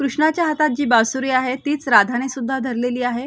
कृष्णाच्या हातात जी बासुरी आहे तीच राधाने सुद्धा धरलेली आहे.